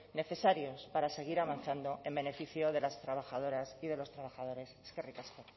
necesarios para seguir avanzando en beneficio de las trabajadoras y de los trabajadores eskerrik asko